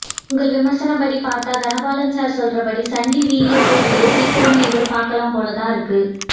உங்க விமரிசனம் படி பார்த்தா தனபாலன் சார் சொல்றபடி சண்டி வி ல கூடிய சீக்கிரமே எதிர்பார்க்கலாம் போலத்தான் இருக்கு